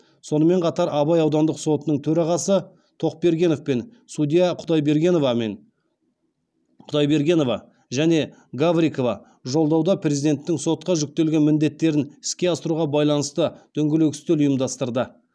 сонымен қатар абай аудандық сотының төрағасы тоқбергенов пен судья құдайбергенова және гаврикова жолдауда президенттің сотқа жүктеген міндеттерін іске асыруға байланысты дөңгелек үстел ұйымдастырды